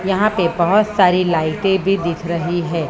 यहां पे बहोत सारे लाइटे भी दिख रही हैं।